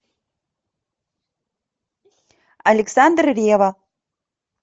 александр ревва